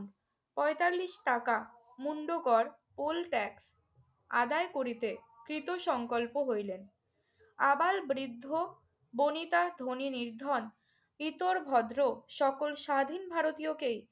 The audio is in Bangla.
পঁয়তাল্লিশ টাকা মুন্ডকর old tax আদায় করিতে কৃত সঙ্কল্প হইলেন। আবাল-বৃদ্ধবনিতা, ধনী-নির্ধন, ইতর-ভদ্র সকল স্বাধীন ভারতীয়কেই